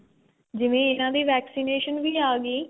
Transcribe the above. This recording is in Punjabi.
ਜਿਵੇਂ ਇੰਨਾ ਦੀ vaccination ਵੀ ਆ ਗਈ